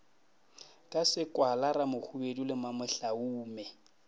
ka sekwala ramohwibidu le mamohlaume